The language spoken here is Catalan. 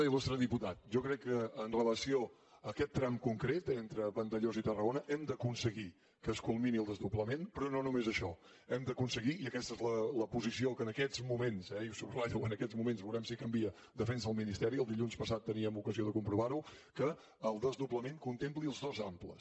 il·lustre diputat jo crec que amb relació a aquest tram concret entre vandellòs i tarragona hem d’aconseguir que es culmini el desdoblament però no només això hem d’aconseguir i aquesta és la posició que en aquests moments i ho subratllo en aquests moments ja veurem si canvia defensa el ministeri el dilluns passat teníem ocasió de comprovar ho que el desdoblament contempli els dos amples